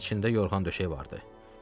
içində yorğan döşək vardı.